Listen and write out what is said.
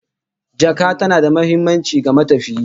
Jaka tana da muhimmanci ga matafiyi